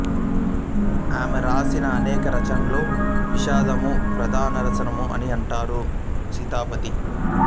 ఆమె రాసిన అనేక రచనలలో విషాదము ప్రధానరసము అని అంటారు సీతాపతి